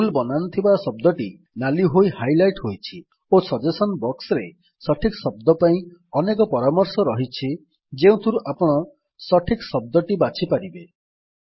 ଭୁଲ୍ ବନାନ ଥିବା ଶବ୍ଦଟି ନାଲି ହୋଇ ହାଇଲାଇଟ୍ ହୋଇଛି ଓ ସଜେସନ୍ସ ବକ୍ସରେ ସଠିକ୍ ଶବ୍ଦ ପାଇଁ ଅନେକ ପରାମର୍ଶ ଅଛି ଯେଉଁଥିରୁ ଆପଣ ସଠିକ୍ ଶବ୍ଦଟି ବାଛି ପାରିବେ